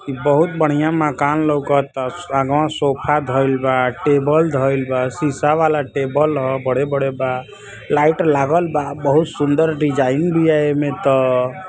ई बहुत बढ़िया मकान लउकता। स् आगवा सोफ़ा धईल बा। टेबल धईल बा। शीशा वाला टेबल ह। बड़े-बड़े बा। लाइट लागल बा। बहुत सुंदर डिजाइन बिया एमे त।